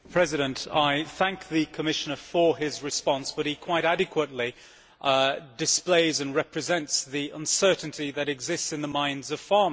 I thank the Commissioner for his response, but he quite adequately displays and represents the uncertainty that exists in the minds of farmers.